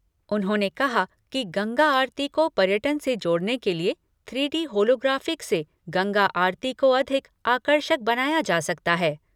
उन्होंने कहा कि गंगा आरती को पर्यटन से जोड़ने के लिए थ्री डी होलोग्राफिक से गंगा आरती को अधिक आकर्षक बनाया जा सकता है।